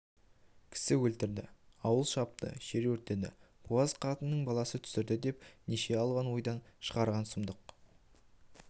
кісі өлтірді ауыл шапты жер өртеді буаз қатынның баласын түсірді деп неше алуан ойдан шығарған сұмдық